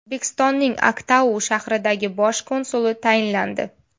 O‘zbekistonning Aktau shahridagi bosh konsuli tayinlandi.